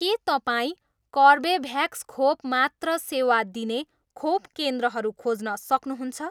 के तपाईँँ कर्बेभ्याक्स खोप मात्र सेवा दिने खोप केन्द्रहरू खोज्न सक्नुहुन्छ?